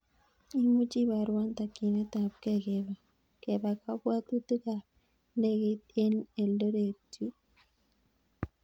Imuchi ibarwan takyinet ab kee kepa kapwatutik ap ndegeit en eldoret yun